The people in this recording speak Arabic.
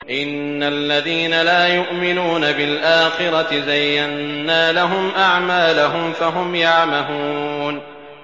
إِنَّ الَّذِينَ لَا يُؤْمِنُونَ بِالْآخِرَةِ زَيَّنَّا لَهُمْ أَعْمَالَهُمْ فَهُمْ يَعْمَهُونَ